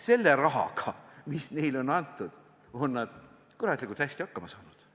Selle rahaga, mis neile on antud, on nad kuratlikult hästi hakkama saanud.